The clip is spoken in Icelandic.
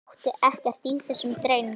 Hann átti ekkert í þessum dreng.